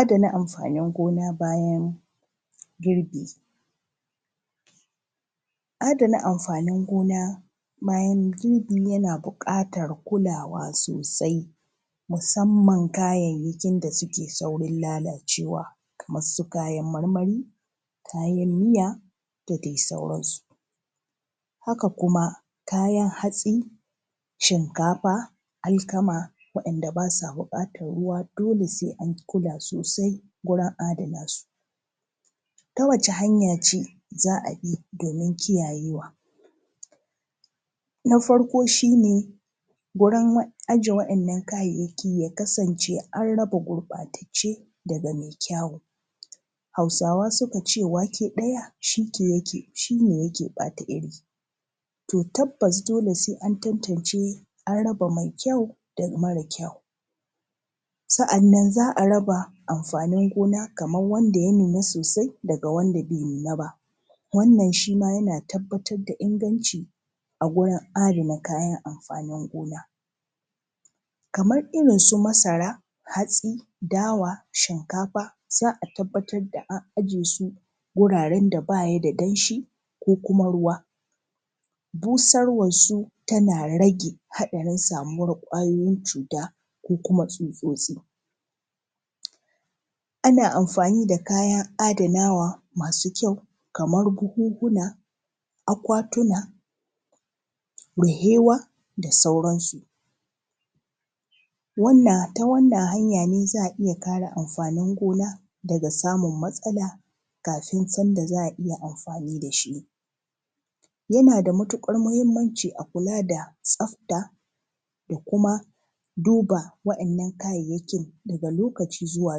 adana amfanin gona bayan bayan adana amfanin gona bayan girbi yana buƙatar kulawa sosai musamman kayayyakin da suke saurin lalacewa kamar su kayan marmari kayan miya da dai sauransu haka kuma kayan hatsi shinkafa alkama waɗanda ba sa buƙatar ruwa dole sai an kula sosai gurin adana su ta wace hanya ce za a bi domin kiyayewa na farko shi ne gurin ajiye waɗannan kayayyaki ya kasance an raba gurɓatacce daga mai kyawu hausawa suka ce wake ɗaya shi ne yake ɓata iri to tabbas dole sai an tantance an raba mai kyau da mara kyau sa’annan za a raba amfanin gona kamar wanda ya nuna sosai da wanda bai nuna ba wannan shi ma yana tabbatar da inganci a gurin adana kayan amfanin gona kamar irin su masara hatsi dawa shinkafa za a tabbatar da an aje su guraren da ba ya da danshi ko kuma ruwa busarwarsu tana rage haɗarin samuwar ƙwayoyin cuta ko kuma tsutsotsi ana amfani da kayan adanawa masu kyau kamar buhunhuna akwatuna ruhewa da sauransu ta wannan hanya ne za a iya kare amfanin gona daga samun matsala kafin sanda za a iya amfani da shi yana da matuƙar muhimmanci a kula da tsafta da kuma duba waɗannan kayayyakin daga lokaci zuwa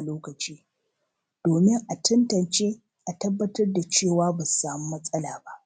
lokaci domin a tantance a tabbatar da cewa ba su samu matsala ba